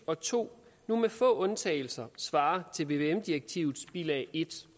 og to nu med få undtagelser svarer til vvm direktivets bilag en